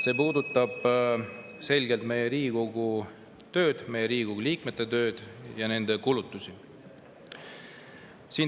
See puudutab selgelt Riigikogu tööd, Riigikogu liikmete tööd ja nende kulutusi.